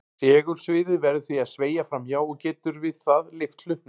Segulsviðið verður því að sveigja fram hjá og getur við það lyft hlutnum.